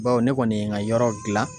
Bawo ne kɔni ye n ka yɔrɔ gilan